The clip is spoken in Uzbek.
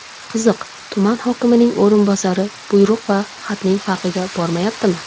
Qiziq, tuman hokimining o‘rinbosari buyruq va xatning farqiga bormayaptimi?